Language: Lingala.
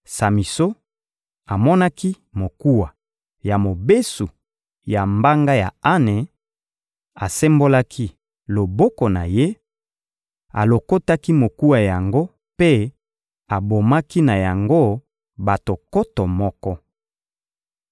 Samison amonaki mokuwa ya mobesu ya mbanga ya ane, asembolaki loboko na ye, alokotaki mokuwa yango mpe abomaki na yango bato nkoto moko.